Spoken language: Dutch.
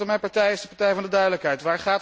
Mijn partij is de partij van de duidelijkheid.